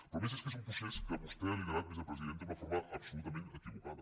però és que a més és un procés que vostè ha liderat vicepresidenta d’una forma absolutament equivocada